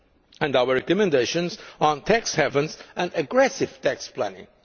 December, and our recommendations on tax havens and aggressive tax planning.